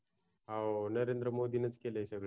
हो नरेंद्र मोदीनीच केलयं सगळं हे